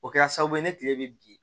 O kɛra sababu ye ni kile bɛ bin